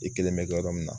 I kelen bɛ kɛ yɔrɔ min na